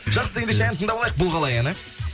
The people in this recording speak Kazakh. жақсы ендеше ән тыңдап алайық бұл қалай әні